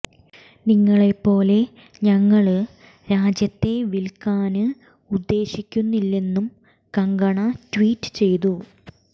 നിങ്ങളെ പോലെ ഞങ്ങള് രാജ്യത്തെ വില്ക്കാന് ഉദ്ദേശിക്കുന്നില്ലെന്നും കങ്കണ ട്വീറ്റ് ചെയ്തു